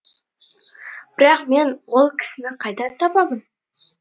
бірақ мен ол кісіні қайдан табамын